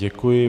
Děkuji.